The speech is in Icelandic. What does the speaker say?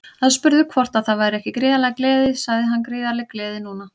Aðspurður hvort það væri ekki gríðarleg gleði sagði hann Gríðarleg gleði núna.